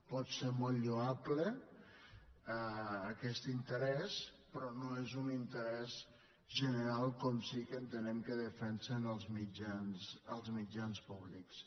pot ser molt lloable aquest interès però no és un interès general com sí que entenem que defensen els mitjans públics